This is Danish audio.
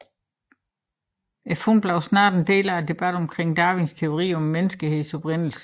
Fundet blev snart en del af debatten omkring Darwins teorier om menneskehedens oprindelse